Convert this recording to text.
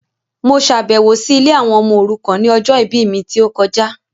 Mo ṣàbẹ̀wọ̀ si ilé àwọn ọmọ òrukàn ni ọjọ ìbí mi ti o kojá